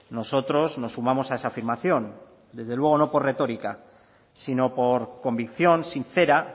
nosotros nos sumamos a esa afirmación desde luego no por retórica sino por convicción sincera